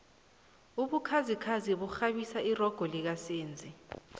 ubukhazikhazi bukghabisa irogo lika senzi